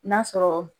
N'a sɔrɔ